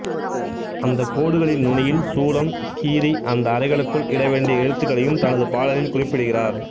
அந்தக் கோடுகளின் நுனியில் சூலம் கீறி அந்த அறைகளுக்குள் இடவேண்டிய எழுத்துக்களையும் தனது பாடலில் குறிப்பிடுகிறார்